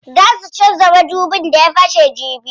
Zaa su canza madubin da ya fashe jibi.